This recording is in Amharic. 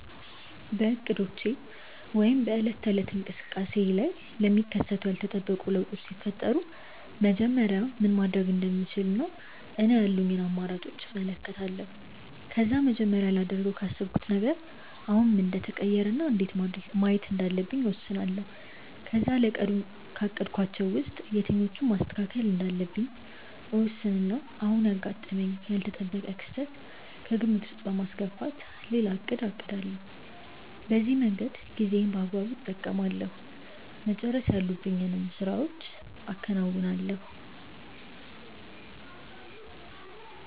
በእቅዶቼ ወይም በዕለት ተዕለት እንቅስቃሴዬ ላይ ለሚከሰቱ ያልተጠበቁ ለውጦች ሲፈጠሩ መጀመሪያ ምን ማድረግ እንደምችል እኔ ያሉኝን አማራጮች እመለከታለሁ። ከዛ መጀመሪያ ላደርገው ካሰብኩት ነገር አሁን ምን እንደተቀየረ እና እንዴት ማየት እንዳለብኝ እወስናለሁ። ከዛ ለቀኑ ካቀድኳቸው ውስጥ የትኞቹን ማስተካከል እንዳለብኝ እወስንና አሁን ያጋጠመኝን ያልተጠበቀ ክስተት ከግምት ውስጥ በማስገባት ሌላ እቅድ አቅዳለሁ። በዚህ መንገድ ጊዜዬን በአግባቡ እጠቀማለሁ፤ መጨረስ ያሉብኝን ስራዎችም አከናውናለሁ።